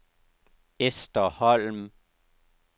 Ester Holm